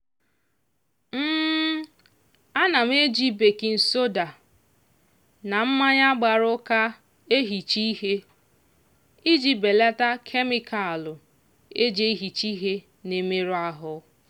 ana m eji bakin soda na mmanya gbara ụka ehicha ihe iji belata kemịkalụ e ji ehicha ihe na-emerụ ahụ